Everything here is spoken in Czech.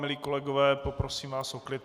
Milí kolegové, poprosím vás o klid.